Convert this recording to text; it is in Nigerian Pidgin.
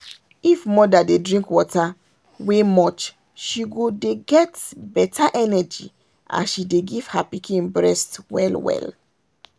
if mother dey drink water wey much she go dey get better energy as she dey give her pikin breast well well.